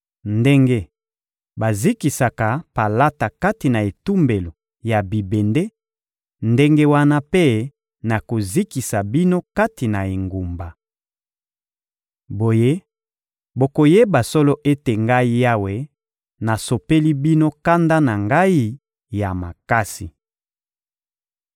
Ndenge bazikisaka palata kati na etumbelo ya bibende, ndenge wana mpe nakozikisa bino kati na engumba. Boye, bokoyeba solo ete Ngai Yawe, nasopeli bino kanda na Ngai ya makasi.›»